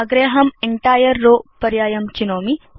अग्रे अहं entire row पर्यायं चिनोमि